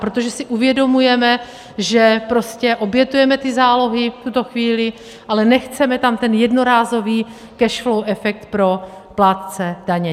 Protože si uvědomujeme, že prostě obětujeme ty zálohy v tuto chvíli, ale nechceme tam ten jednorázový cash flow efekt pro plátce daně.